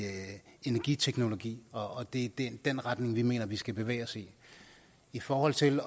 energiteknologi og det er den retning vi mener vi skal bevæge os i i forhold til